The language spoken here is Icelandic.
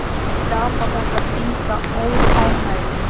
Skapar þetta enga óánægju?